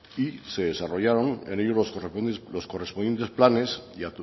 y se desarrollaron en ellos los correspondientes planes y